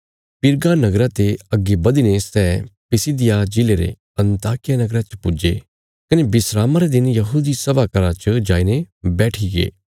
पिरगा नगरा ते अग्गे बधीने सै पिसिदिया जिले रे अन्ताकिया नगरा च पुज्जे कने विस्रामा रे दिन यहूदी सभा घर च जाईने बैठीगे